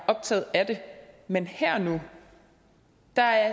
optaget af det men her og nu